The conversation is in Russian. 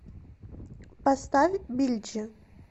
поставь билджи